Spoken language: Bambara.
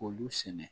K'olu sɛnɛ